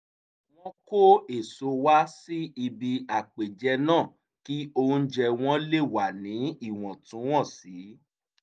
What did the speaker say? wọ́n kó èso wá sí ibi àpèjẹ náà kí oúnjẹ wọn lè wà ní ìwọ̀ntúnwọ̀nsì